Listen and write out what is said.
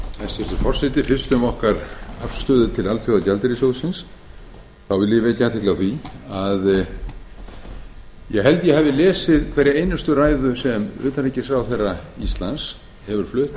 hæstvirtur forseti fyrst um okkar afstöðu til alþjóðagjaldeyrissjóðsins þá vil ég vekja athygli á því að ég held að ég hafi lesið hverja einustu ræðu sem utanríkisráðherra íslands hefur flutt